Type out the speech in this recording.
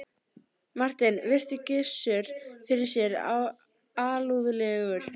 Marteinn virti Gizur fyrir sér alúðlegur.